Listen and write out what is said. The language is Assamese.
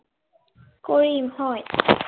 কৰিম হয়।